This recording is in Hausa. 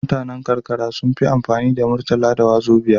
Mutanan karkara sunfi amfani da murtala da wazobiya